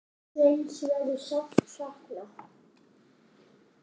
Sveins verður sárt saknað.